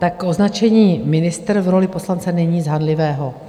Tak označení ministr v roli poslance není nic hanlivého.